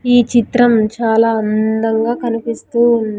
ఈ చిత్రం చాలా అందంగా కనిపిస్తూ ఉన్--